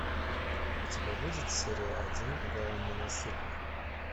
у тебя будет серия один голан ненасытный